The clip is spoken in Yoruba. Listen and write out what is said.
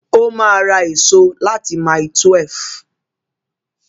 Ó ma ra èso láti mile 12